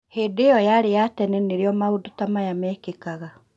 Hĩndĩ ĩyo yarĩ ya tene nĩrĩo maũndũ ta maya mekĩkaga